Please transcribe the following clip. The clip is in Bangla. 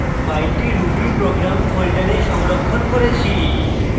file ruby program folder সংরক্ষণ করেছি